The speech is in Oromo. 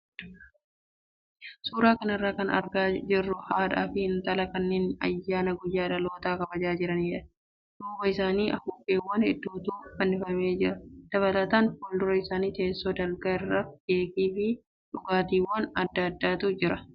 Suuraa kanarraa kan argaa jirru haadhaa fi intalaa kanneen ayyaana guyyaa dhalootaa kabajaa jiranidha. Duuba isaanii afuuffeewwan hedduutu fannifamee jira. Dabalataan fuuldura isaanii teessoo dalgaa irra keekii fi dhugaatiiwwan adda addaatu jira.